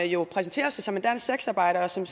jo præsenterer sig som en dansk sexarbejder og som